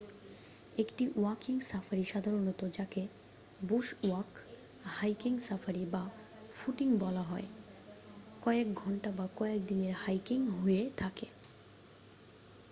"একটি walking safari সাধারণত যাকে "বুশ ওয়াক" "হাইকিং সাফারি" বা "ফুটিং" বলা হয় হয় কয়েক ঘন্টা বা কয়েক দিনের হাইকিং হয়ে থাকে।